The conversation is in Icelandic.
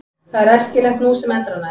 Það er æskilegt nú sem endranær.